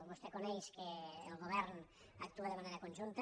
vostè coneix que el govern actua de manera conjunta